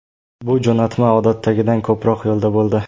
Bu jo‘natma odatdagidan ko‘proq yo‘lda bo‘ldi.